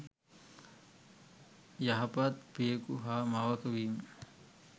යහපත් පියකු හා මවක වීම